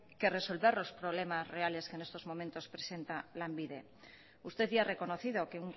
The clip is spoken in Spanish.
que en resolver los problemas reales que en estos momentos presenta lanbide usted ya ha reconocido que